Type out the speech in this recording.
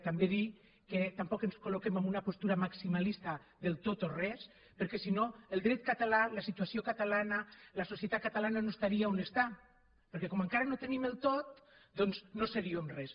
també dir que tampoc ens col·loquem en una postura maximalista del tot o res perquè si no el dret català la situació catalana la societat catalana no estarien on estan perquè com encara no tenim el tot doncs no seríem res